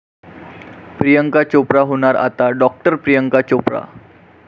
प्रियांका चोप्रा होणार आता डॉ. प्रियांका चोप्रा!